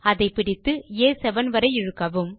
அதை பிடித்து ஆ7 வரை இழுக்கவும்